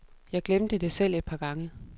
Jeg glemte det selv et par gange.